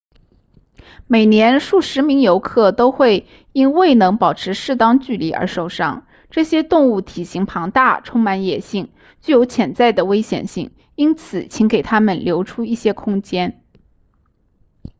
每年数十名游客都会因未能保持适当距离而受伤这些动物体型庞大充满野性具有潜在的危险性因此请给它们留出一些空间